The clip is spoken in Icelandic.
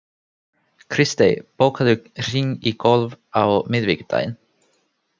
Kristey, bókaðu hring í golf á miðvikudaginn.